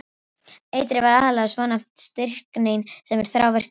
Eitrið var aðallega svonefnt stryknín sem er þrávirkt eitur.